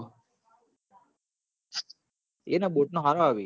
એ ના બોટ નો હરો આવી